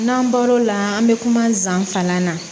N'an bɔr'o la an bɛ kuma zan kalan na